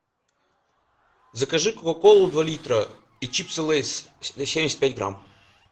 закажи кока колу два литра и чипсы лейс семьдесят пять грамм